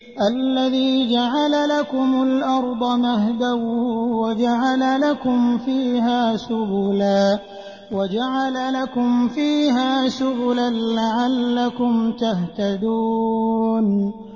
الَّذِي جَعَلَ لَكُمُ الْأَرْضَ مَهْدًا وَجَعَلَ لَكُمْ فِيهَا سُبُلًا لَّعَلَّكُمْ تَهْتَدُونَ